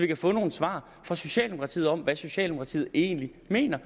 kan få nogle svar fra socialdemokratiet om hvad socialdemokratiet egentlig mener